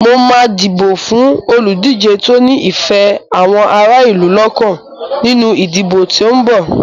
Mo máa dìbò fún olùdíje tó ní ìfẹ́ àwọn ará ìlú lọ́kàn nínú ìdìbò tí ó ń bọ̀.